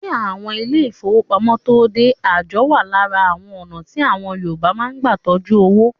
Kí àwọn ilé ìfọwọ́pamo tóo dé, àjọ wa lára àwọn ọ̀nà tí àwọn Yorùbá máa ń gbà tọjú owó.